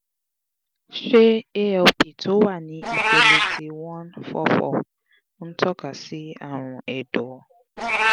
ṣé alp tó wà ní ipele ti one four four ń toka si àrùn ẹ̀dọ̀?